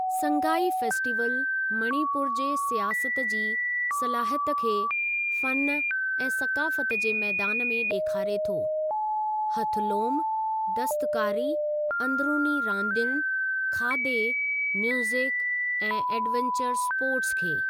Sangai festival मणि पूरु जे सियाहत जी सलाहियत खे फ़नु ऐं सक़ाफ़त जे मैदान में ॾेखारे थो, हथ लोम, दस्तकारी, अंदिरूनी रांदियुनि, खाधे, म्यूज़िक ऐं एडवंचर स्पोर्ट्स खे।